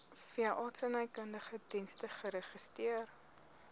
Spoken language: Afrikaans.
veeartsenykundige dienste geregistreer